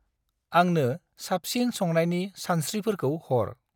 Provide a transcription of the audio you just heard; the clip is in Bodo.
आंनो साबसिन संनायनि सानस्त्रिफोरखौ हर।